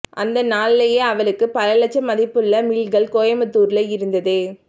அந்த நாள்லயே அவளுக்கு பல லட்சம் மதிப்புள்ள மில்கள் கோயமுத்தூர்ல இருந்தது